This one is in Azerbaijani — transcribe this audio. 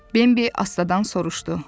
Bembi astadan soruşdu: